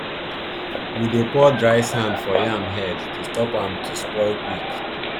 we dey pour dry sand for yam head to stop am to spoil quick